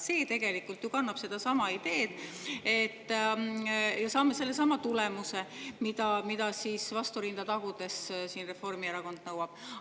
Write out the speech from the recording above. See tegelikult ju kannab sedasama ideed ja sellega saaksime sellesama tulemuse, mida Reformierakond vastu rinda tagudes nõuab.